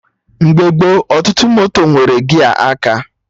Mgbe gboo, ọtụtụ moto nwere gia aka